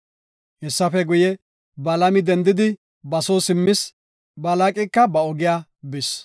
Hessafe guye, Balaami dendidi ba soo simmis; Balaaqika ba ogiya bis.